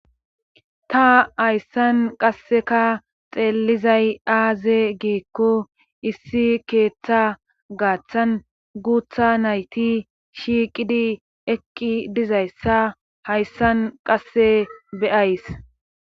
Ta hayssan qasseka xeellizay aaze giikko issi keeththa gaaththan guutha nayti shiiqidi eqqi dizayssa hayssan qasse beyays.